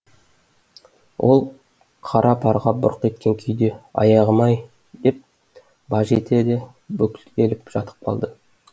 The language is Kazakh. ол қара парға бұрқ еткен күйде аяғым ай деп баж етті де бүктеліп жатып қалды